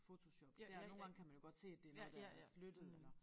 Fotoshop der nogle gange kan man jo godt se at det er noget der er flyttet eller